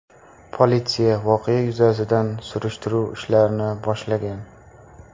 Politsiya voqea yuzasidan surishtiruv ishlarini boshlagan.